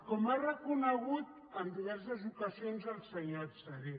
com ha reconegut en diverses ocasions el senyor adserá